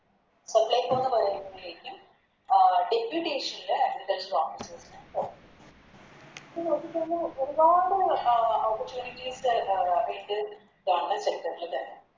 Supplyco ന്ന് പറയുമ്പോഴേക്കും അഹ് Deputation ല് Agriculture officers ന് ഒരുപാട് Oppurtunites ഇതാണ്